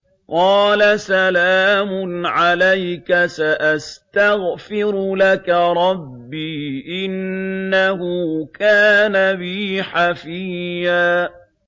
قَالَ سَلَامٌ عَلَيْكَ ۖ سَأَسْتَغْفِرُ لَكَ رَبِّي ۖ إِنَّهُ كَانَ بِي حَفِيًّا